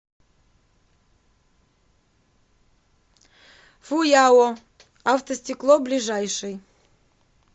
фуяо автостекло ближайший